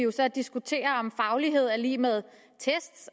diskutere om faglighed er lig med test